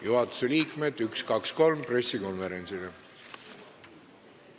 Juhatuse liikmed, üks-kaks-kolm pressikonverentsile!